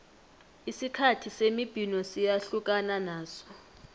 isikhathi semibhino siyahlukana naso